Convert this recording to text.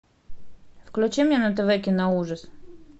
включи мне на тв киноужас